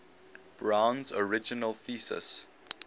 brown's original thesis